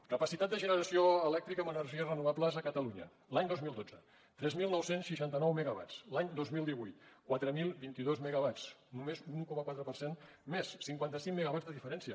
capacitat de generació elèctrica amb energies renovables a catalunya l’any dos mil dotze tres mil nou cents i seixanta nou megawatts l’any dos mil divuit quatre mil vint dos megawatts només un un coma quatre per cent més cinquanta cinc megawatts de diferència